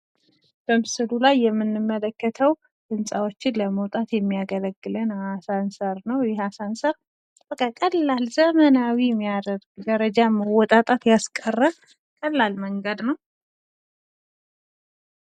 በምስሉ ላይ የምንመለከተው ህንፃወችን ለመውጣት አሳንሰር ነው ። ይህ ደረዳወችን ለመውጣት ቀላል መንገድ ነው ።